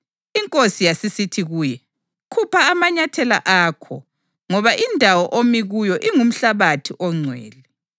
INkosi yasisithi kuye, ‘Khupha amanyathela akho, ngoba indawo omi kuyo ingumhlabathi ongcwele.